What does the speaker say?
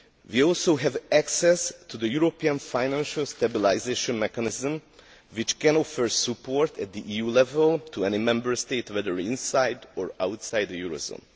We also have access to the European Financial Stabilisation Mechanism, which can offer support at EU level to any Member State, whether inside or outside the eurozone.